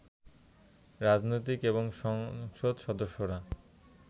রাজনীতিক এবং সংসদ সদস্যরা